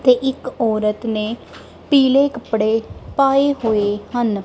ਤੇ ਇੱਕ ਔਰਤ ਨੇ ਪੀਲੇ ਕੱਪੜੇ ਪਾਏ ਹੋਏ ਹਨ।